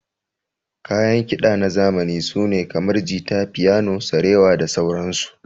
Kayan kida na zamani sune kamar, jita, fiyano, sarewa da sauran su.